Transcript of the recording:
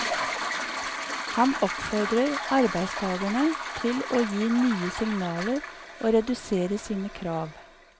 Han oppfordrer arbeidstagerne til å gi nye signaler og redusere sine krav.